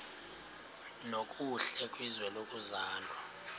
nokuhle kwizwe lokuzalwa